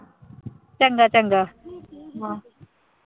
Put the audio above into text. ਚੰਗਾ ਚੰਗਾ।